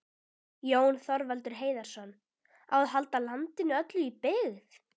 Jón Þorvaldur Heiðarsson,: Á að halda landinu öllu í byggð?